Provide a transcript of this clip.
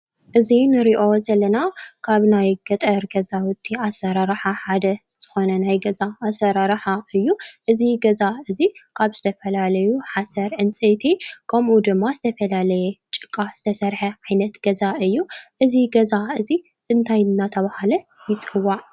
እዚ ንሪኦ ዘለና ካብ ናይ ገጠር ገዛውቲ ኣሰራርሓ ሓደ ዝኾነ ናይ ገዛ ኣሰራርሓ እዩ፡፡ እዚ ገዛ እዚ ካብ ዝተፈላለዩ ሓሰር፣ ዕንፀይቲ ከምኡ ድማ ዝተፈላለየ ጭቃ ዝተሰርሐ ዓይነት ገዛ እዩ፡፡ እዚ ገዛ እዚ እንታይ እናተህለ ይፅዋዕ?